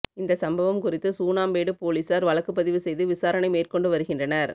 இந்த சம்பவம் குறித்து சூனாம்பேடு போலீசார் வழக்குப்பதிவு செய்து விசாரணை மேற்கொண்டு வருகின்றனர்